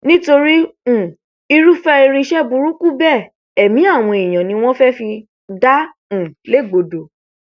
nítorí um irúfẹ irinṣẹ burúkú bẹẹ ẹmí àwọn èèyàn ni wọn fẹẹ fi dá um légbodò